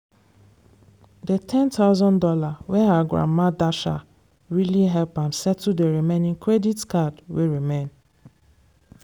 dey ten thousand dollars wey her grandma dash her really help am settle d remaining credit card wey remain.